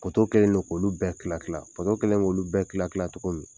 Koto kɛlen do k'olu bɛɛ kila kila pato kɛlɛ k'olu bɛɛ kila kila cogo min